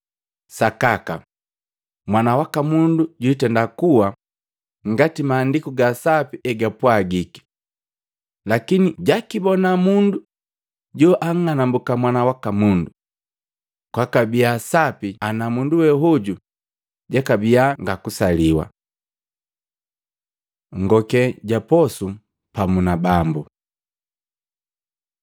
Sakaka, Mwana waka Mundu jwitenda kuwa ngati Maandiku ga Sapi egapwagiki. Lakini jakibona mundu jo ang'anumbuka Mwana waka Mundu! Kwakabia sapi ana mundu we hoju jakabia nga kusaliwa!” 1 Ngokee ja posu pamu Bambu Matei 26:26-30; Luka 22:14-20; 1Akolintu 11:23-25